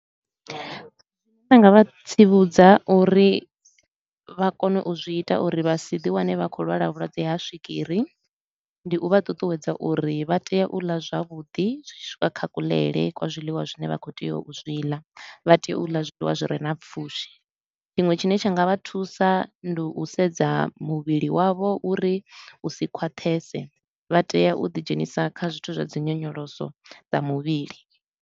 Zwine nda nga vha tsivhudza uri vha kone u zwi ita uri vha si ḓi wane vha khou lwala vhulwadze ha swigiri, ndi u vha ṱuṱuwedza uri vha tea u ḽa zwavhuḓi zwi tshi swika kha kuḽele kwa zwiḽiwa zwine vha khou tea u zwi ḽa, vha tea u ḽa zwiḽiwa zwi re na pfushi. Tshiṅwe tshine tsha nga vha thusa ndi u sedza muvhili wavho uri u si khwaṱhese, vha tea u ḓidzhenisa kha zwithu zwa dzi nyonyoloso dza muvhili.